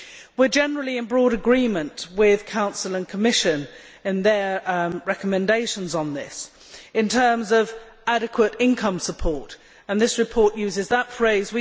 We are generally in broad agreement with the Council and Commission in their recommendations on this, in terms of adequate income support, and this report uses that phrase.